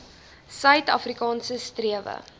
suid afrikaanse strewe